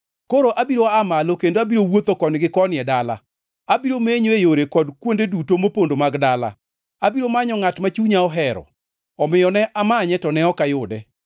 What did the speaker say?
Koro abiro aa malo kendo abiro wuotho koni gi koni e dala, abiro menyo e yore kod kuonde duto mopondo mag dala; abiro manyo ngʼat ma chunya ohero. Omiyo ne amanye to ne ok ayude.